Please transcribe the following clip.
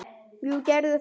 Jú, gerðu það